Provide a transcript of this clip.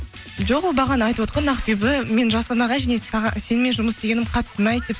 жоқ ол бағана айтывотқан ақбибі мен жасұлан ағай және сенімен жұмыс істегенім қатты ұнайды деп